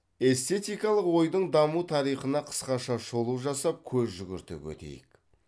эстетикалық ойдың даму тарихына қысқаша шолу жасап көз жүгіртіп өтейік